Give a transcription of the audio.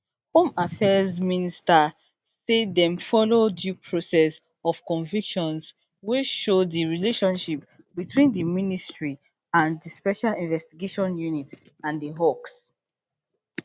home affairs minister say dem follow due process of convictions wey show di relationship between di ministry and di special investigating unit and di hawks